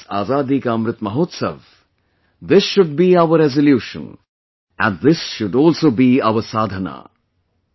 In this Azadi Ka Amrit Mahotsav', this should be our resolution and this should also be our sadhana...